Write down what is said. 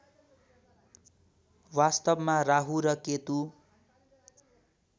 वास्तवमा राहु र केतु